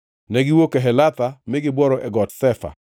Negiwuok Kehelatha mi gibworo e Got Shefa.